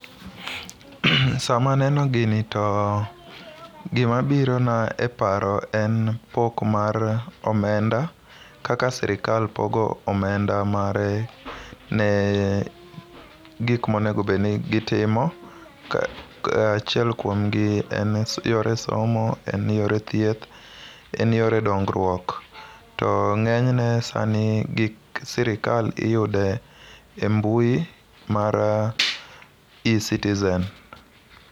Sama aneno gini to gimabirona e paro en pok mar omenda ,kaka sirikal pogo omenda mare ne gik monego obedni gitimo, achiel kuom gi en yore somo, en yore thieth, en yore dongruok. To ng'enyne gik sirikal iyudo e mbui mar e-citizen.